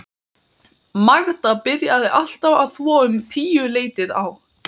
Magda byrjaði alltaf að þvo um tíuleytið á